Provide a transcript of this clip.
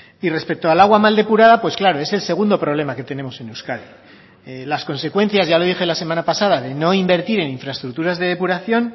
y respecto al agua mal depurada pues claro es el segundo problema que tenemos en euskadi las consecuencias ya lo dije la semana pasada de no invertir en infraestructuras de depuración